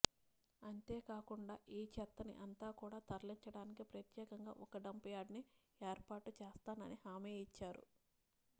అంతేకాకుండా ఈ చెత్తని అంతా కూడా తరలించడానికి ప్రత్యేకంగా ఒక డంప్ యార్డు ని ఏర్పాటు చెప్పిస్తానని హామీ ఇచ్చారు